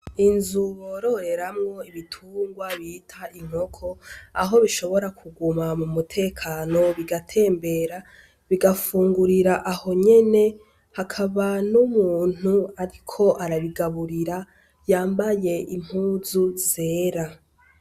Inzu bororeramwo ibitungwa bita inkoko, aho bishobora kuguma mumutekano bigatembera, bigafumgurira ahonyene, hakaba numuntu ariko arabigaburira yambaye impuzu zera .